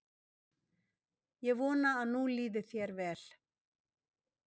Ég vona að nú líði þér vel.